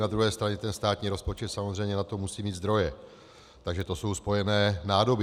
Na druhé straně ten státní rozpočet samozřejmě na to musí mít zdroje, takže to jsou spojené nádoby.